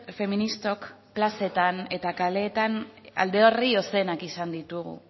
feministok plazetan eta kaleetan alde izan ditugu